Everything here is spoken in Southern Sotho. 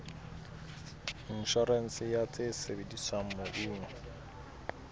inshorense ya tse sebediswang mobung